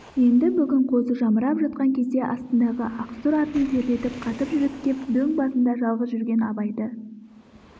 енді бүгін қозы жамырап жатқан кезде астындағы ақсұр атын терлетіп қатты жүріп кеп дөң басында жалғыз жүрген абайды